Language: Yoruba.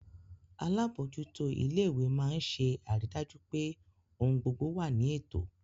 Alábòójútó ilé ìwé máa ń ṣe àrídájú pé ohun gbogbo wà ní ètò